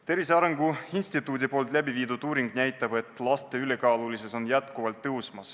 Tervise Arengu Instituudi läbiviidud uuring näitab, et laste ülekaalulisus on kasvav trend.